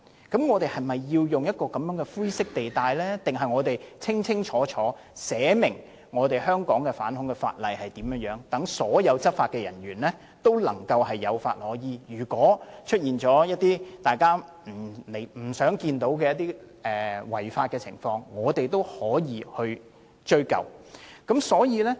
那麼，我們是否要在這種灰色地帶中運作，還是制定一項屬於香港的反恐法例，讓所有執法人員有法可依，即使出現一些大家不想看到的違法情況，我們也可以追究。